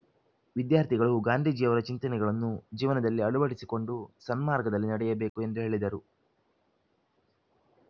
ವಿದ್ಯಾರ್ಥಿಗಳು ಗಾಂಧೀಜಿಯವರ ಚಿಂತನೆಗಳನ್ನು ಜೀವನದಲ್ಲಿ ಅಳುವಡಿಸಿಕೊಂಡು ಸನ್ಮಾರ್ಗದಲ್ಲಿ ನಡೆಯಬೇಕು ಎಂದು ಹೇಳಿದರು